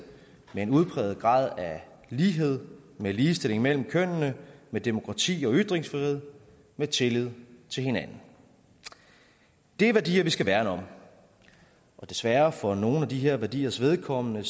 med en udpræget grad af lighed med ligestilling mellem kønnene med demokrati og ytringsfrihed med tillid til hinanden det er værdier vi skal værne om og desværre for nogle af de her værdiers vedkommende